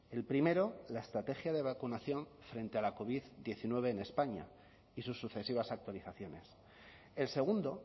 el primero la estrategia de vacunación frente a la covid diecinueve en españa y sus sucesivas actualizaciones el segundo